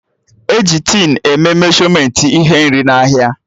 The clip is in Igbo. E ji tin e mee meshọmentị ihe nri n'ahịa